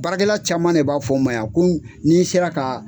Baara kɛla caman de b'a fɔ n ma yan ko ni n sera ka